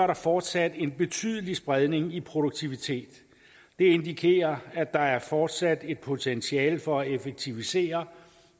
der fortsat en betydelig spredning i produktivitet det indikerer at der fortsat er et potentiale for at effektivisere